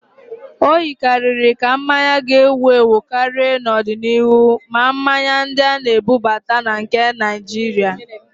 O yikarịrị ka mmanya ga-ewu ewu karịa n'ọdịniihu, ma mmanya ndị a na-ebubata na nke Naịjirịa